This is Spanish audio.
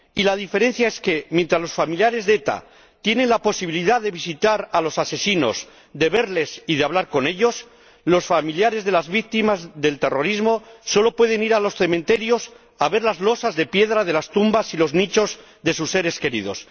Y la diferencia es que, mientras los familiares de ETA tienen la posibilidad de visitar a los asesinos, de verles y de hablar con ellos, los familiares de las víctimas del terrorismo solo pueden ir a los cementerios, a ver las losas de piedra de las tumbas y los nichos de sus seres queridos.